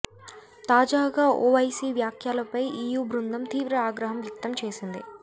తాజాగా ఓవైసీ వ్యాఖ్యలపై ఈయూ బృందం తీవ్ర ఆగ్రహం వ్యక్తం చేసింది